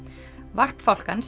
varp fálkans